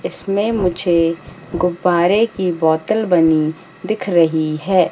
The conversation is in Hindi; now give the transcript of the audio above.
इसमें मुझे गुब्बारे की बोतल बनी दिख रही है।